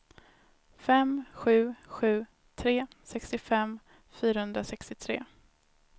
fem sju sju tre sextiofem fyrahundrasextiotre